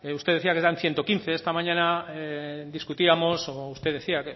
usted decía que eran ciento quince esta mañana discutíamos o usted decía